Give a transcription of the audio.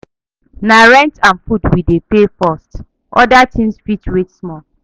Na rent and food we dey pay first, oda tins fit wait small.